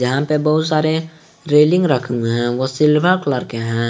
यहां पर बहोत सारे रेलिंग रखे गए हैं वह सिल्वर कलर के हैं।